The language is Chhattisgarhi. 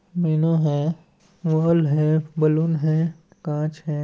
मेनू हैं है बलून है कांच है।